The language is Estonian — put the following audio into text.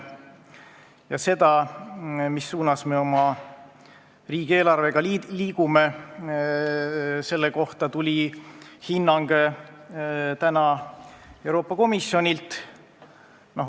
Ja selle kohta, mis suunas me oma riigieelarvega liigume, tuli täna hinnang Euroopa Komisjonilt.